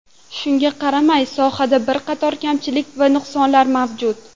Shunga qaramay, sohada bir qator kamchilik va nuqsonlar mavjud.